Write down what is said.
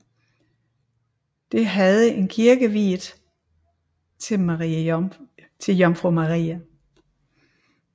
Det havde en kirke viet til Jomfru Maria